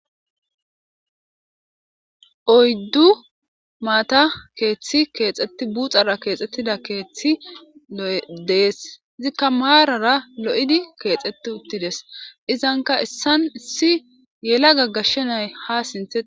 oyddu maata keeththi keexetti buxara keexxettida keeththi lo7edees izikka maarara lo7idi keexeti uttides izanka issan issi yela gaggashshenay ha sinthei